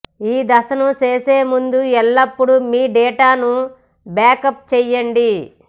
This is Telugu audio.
ఈ దశను చేసే ముందు ఎల్లప్పుడూ మీ డేటాను బ్యాకప్ చేయండి